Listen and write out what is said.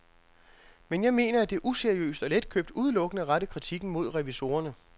Men jeg mener, at det er useriøst og letkøbt udelukkende at rette kritikken mod revisorerne.